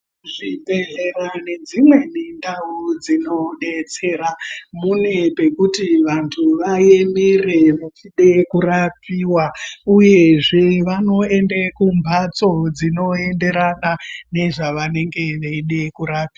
Zvibhedhlera nedzimweni ndau dzinodetsera mune pekuti vantu vaemere veide kurapiwa uyezve vanoende kumbhatso dzinoenderana nezvavanenge veide kurapiwa.